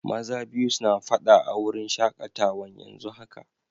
Maza biyu na fada a'wurin shakatawan yanzu haka.